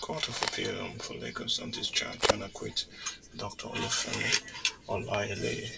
court of appeal um for lagos don discharge and acquit dr olufemi olaeleye